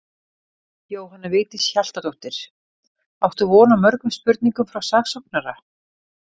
Jóhanna Vigdís Hjaltadóttir: Áttu von á mörgum spurningum frá saksóknara?